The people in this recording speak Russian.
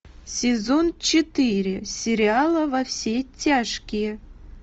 сезон четыре сериала во все тяжкие